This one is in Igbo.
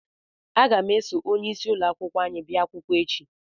Aga m eso onyeisi ụlọ akwụkwọ anyị bịa akwụkwọ echi